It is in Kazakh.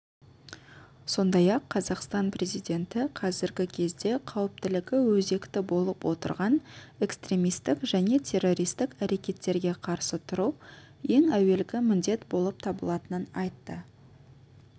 сондай-ақ қазақстан президенті қазіргі кезде қауіптілігі өзекті болып отырған экстремистік және террористік әрекеттерге қарсы тұру ең әуелгі міндет болып табылатынын айтты